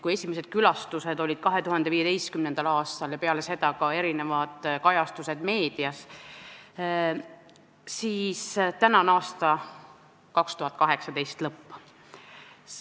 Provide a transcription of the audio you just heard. Kui esimesed külastused olid 2015. aastal ja peale seda ilmusid ka erinevad kajastused meedias, siis täna on 2018. aasta lõpp.